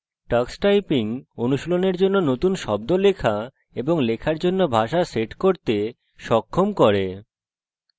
tux typing অনুশীলনের জন্য নতুন শব্দ লেখা এবং লেখার জন্য ভাষা set করতে সক্ষম করে